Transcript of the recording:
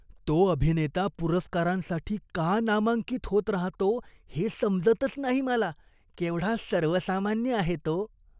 तो अभिनेता पुरस्कारांसाठी का नामांकित होत राहतो हे समजतच नाही मला. केवढा सर्वसामान्य आहे तो.